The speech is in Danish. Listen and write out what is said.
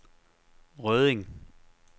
Rødding